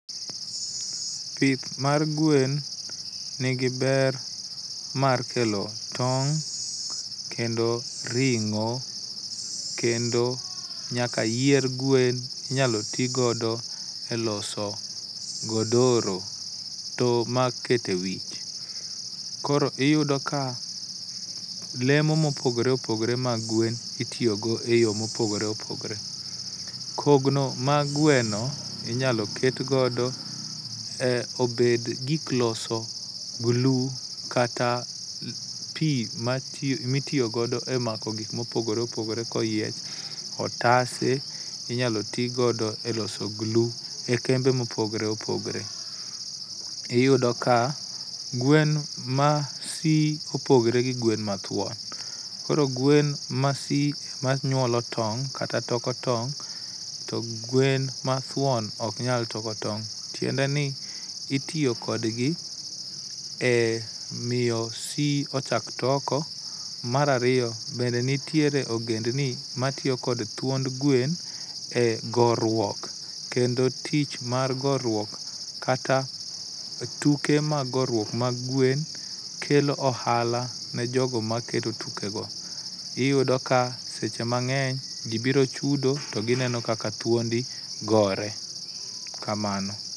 Pith mar gwen nigi ber mar kelo tong', kendo ring'o kendo nyaka yier gwen inyalo ti godo eloso godoro to ma iketo ewich. Koro iyudo ka lemo mopogore opogore mag gwen itiyogo eyo mopogore opogore. Kogno mag gweno inyalo ketgodo obed gik loso glu kata pi mitiyo godo emako gik mopogore opogore koyiech, otase inyalo ti godoeloso glu, ekembe mopogore opogore . Iyudo ka gwen ma swi opogore gi gweno mathuon. Koro gwen masi manyuolo tong' kata toko tong' to gwen mathuon to ok nyal toko tong' tiendeni itiyo kodgi e miyo swi ochak toko mar ariyo bende nitiere ogend ni matiyo kod thuond gwen e goruok kendo tich mar goruok kata tuke mag goruok mag gwen kelo ohala ne jogo makelo tukego, iyudo ka seche mang'eny ji biro chudo to gineno kaka thuondi gore. kamano.